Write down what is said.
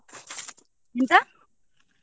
ಎಂತ?